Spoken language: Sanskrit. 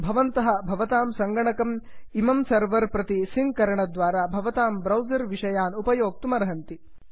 भवन्तः भवतां सङ्गणकम् इमं सर्वर् प्रति सिङ्क् करणद्वारा भवतां ब्रौसर् विषयान् उपयोक्तुमर्हन्ति